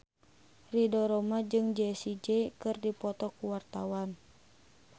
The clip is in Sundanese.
Ridho Roma jeung Jessie J keur dipoto ku wartawan